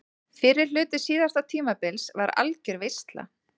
Fyrri hluti síðasta tímabils var algjör veisla.